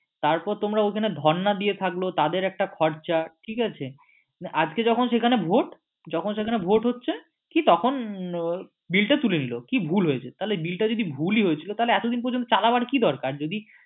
তারপর তোমরা ওখানে ধন্না দিয়ে থাকলেও তাদের একটা খরচা ঠিক আছে আজকে যখন সেখানে ভোট যখন সেখানে ভোট হচ্ছে কি তখন bill টা তুলে নিলো কি ভুল হয়েছে bill টা যখন ভুলই হয়েছিল এতদিন পর্যন্ত চালাবার কি দরকার